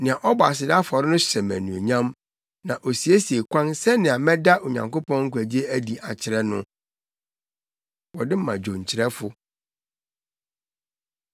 Nea ɔbɔ aseda afɔre no hyɛ me anuonyam, na osiesie kwan sɛnea mɛda Onyankopɔn nkwagye adi akyerɛ no.” Wɔde ma dwonkyerɛfo.